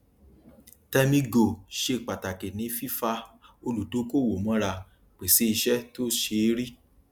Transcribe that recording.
termii go ṣe pàtàkì ní fífa olùdókòwò mọra pèsè iṣẹ tó ṣeé rí